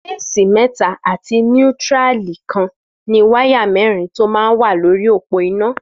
Fésí mẹ̀tá àtí nútìrálí kàn ni wàyá mẹrin tó mà n wà lóri ópó iná